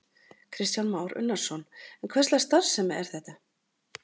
Kristján Már Unnarsson: En hverslags starfsemi er þetta?